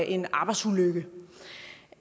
en arbejdsulykke